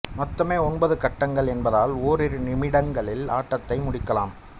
மொத்தமே ஒன்பது கட்டங்கள் என்பதால் ஓரிரு நிமிடங்களில் ஆட்டத்தை முடிக்கலாம்